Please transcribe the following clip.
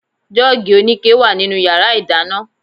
Jọ́ọ̀gì oníke wà nínú yàrá ìdáná